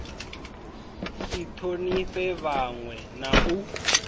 si thonifhe vhanwe na u